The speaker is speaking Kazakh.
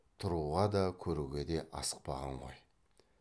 тұруға да көруге де асықпаған ғой